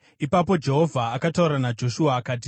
Ipapo Jehovha akataura naJoshua akati,